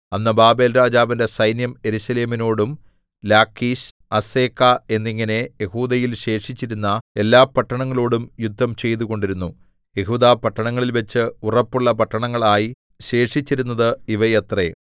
അന്ന് ബാബേൽരാജാവിന്റെ സൈന്യം യെരൂശലേമിനോടും ലാക്കീശ് അസെക്കാ എന്നിങ്ങനെ യെഹൂദയിൽ ശേഷിച്ചിരുന്ന എല്ലാപട്ടണങ്ങളോടും യുദ്ധം ചെയ്തുകൊണ്ടിരുന്നു യെഹൂദാപട്ടണങ്ങളിൽവച്ച് ഉറപ്പുള്ള പട്ടണങ്ങളായി ശേഷിച്ചിരുന്നത് ഇവയത്രേ